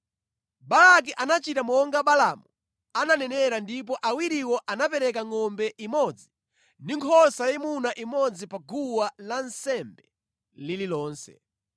Balaki anachita monga Balaamu ananenera ndipo awiriwo anapereka ngʼombe imodzi ndi nkhosa yayimuna imodzi pa guwa lansembe lililonse.